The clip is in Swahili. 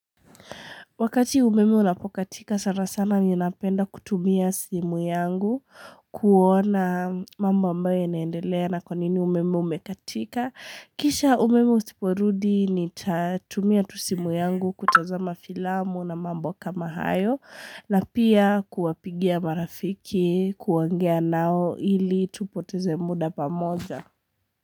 Wakati umeme unapokatika sana sana ninapenda kutumia simu yangu kuona mambo ambayo inaendelea na kwa nini umeme umekatika. Kisha umeme usiporudi nitatumia tu simu yangu kutazama filamu na mambo kama hayo na pia kuwapigia marafiki kuongea nao ili tupoteze muda pamoja.